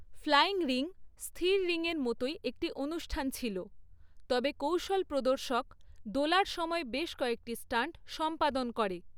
Flying ring স্থির রিংয়ের মতোই একটি অনুষ্ঠান ছিল, তবে কৌশলপ্রদর্শক দোলার সময় বেশ কয়েকটি স্টান্ট সম্পাদন করে।